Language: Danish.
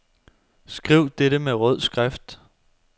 Skriv dette med rød skrift.